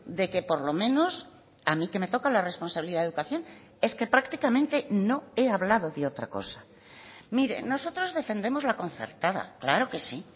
de que por lo menos a mí que me toca la responsabilidad de educación es que prácticamente no he hablado de otra cosa mire nosotros defendemos la concertada claro que sí